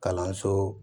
Kalanso